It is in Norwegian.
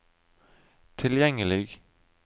tilgjengelig